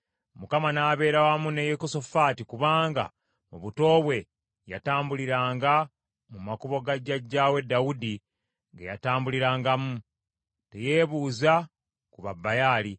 Mukama n’abeera wamu ne Yekosafaati kubanga mu buto bwe yatambuliranga mu makubo ga jjajjaawe Dawudi ge yatambulirangamu. Teyeebuuza ku Babaali,